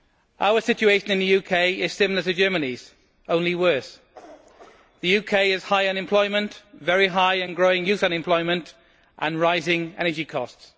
Our situation in the UK is similar to Germany's, only worse. The UK has high unemployment, very high and growing youth unemployment and rising energy costs.